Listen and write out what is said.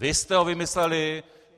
Vy jste ho vymysleli.